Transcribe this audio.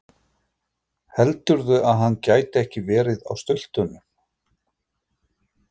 Heldurðu að hann gæti ekki verið á stultunum?